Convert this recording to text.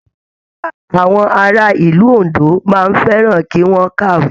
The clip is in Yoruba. Àwọn ará ìlú Òndó máa n fẹràn ki wọn kàwé.